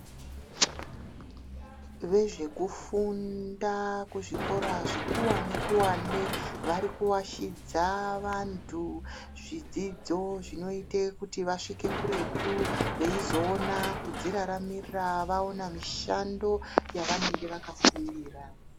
Vezvekufunda kuzvikora zvikuwane-kuwane, vari kuashidza vantu zvidzidzo zvinoyite kuti vasvike kuretu, veyizowona kudziraramira vawona mishando yavanenge vakafundira.